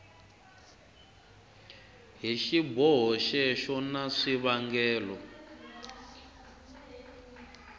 hi xiboho xexo na swivangelo